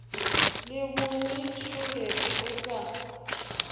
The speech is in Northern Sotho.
le bongi šole o sa